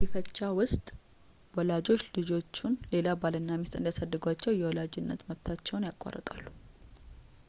በጉዲፈቻ ውስጥ ወላጆች ልጆቹን ሌላ ባልና ሚስት እንዲያሳድጓቸው የወላጅ መብታቸውን ያቋርጣሉ